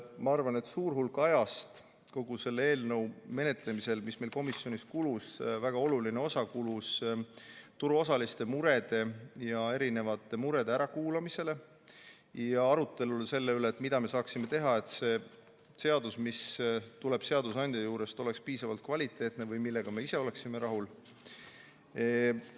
Ma arvan, et suur hulk ajast, mis meil komisjonis kogu selle eelnõu menetlemisele kulus, kulus turuosaliste murede ja erinevate murede ärakuulamisele ja arutelule selle üle, mida me saaksime teha, et seadus, mis tuleb seadusandja juurest, oleks piisavalt kvaliteetne ja me ise oleksime sellega rahul.